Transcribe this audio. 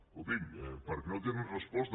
escolti’m perquè no tenen resposta